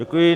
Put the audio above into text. Děkuji.